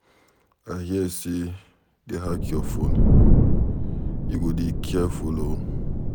I hear say dey hack your phone. You go dey careful.